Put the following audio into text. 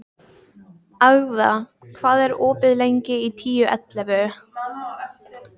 Agða, hvað er opið lengi í Tíu ellefu?